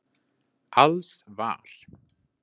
Alls var